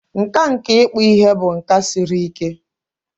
Nkà nke ịkpụ ihe bụ nka siri ike.